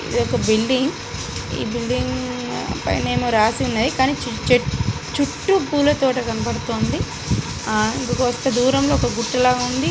ఇదొక బిల్డింగ్ . ఈ బిల్డింగ్ పైన ఏమో రాసున్నది. కానీ చెట్ చుట్టూ పూల తోట కనబడుతుంది. ఆ ఇంకొక మస్త్ దూరంలో గుట్ట లాగా ఉంది.